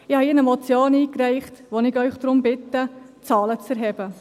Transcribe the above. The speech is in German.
Ich habe hier eine Motion eingereicht, in der ich Sie darum bitte, Zahlen zu erheben.